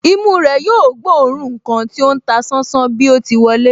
Imú rẹ̀ yóò gbóòórùn ǹkan tí ó ń ta sánsán bí o ti wọlé